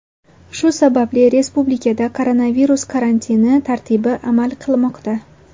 Shu sababli respublikada koronavirus karantini tartibi amal qilmoqda .